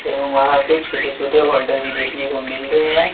एवं वहां पे छोटे छोटे होल्डर भी देखने को मिल रहे हैं।